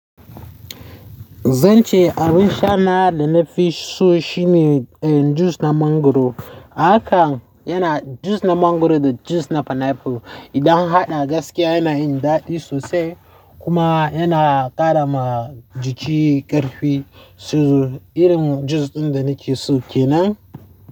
Zan ce abin sha na da na fi so shine juice na mangwaro. Haka yana juice na mangwaro da juice na pineapple. Idan haɗa gaskiya yana yin daɗi sosai kuma yana ƙara ma jiki ƙarfi. So irin juice ɗin da nake so kenan.